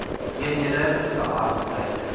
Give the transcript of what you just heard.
eenhede gehad lyk